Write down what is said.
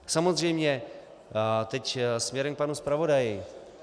Samozřejmě teď směrem k panu zpravodaji.